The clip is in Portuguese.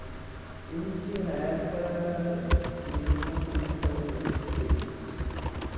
Né e não tinha na época nenhuma política de saúde a esse respeito.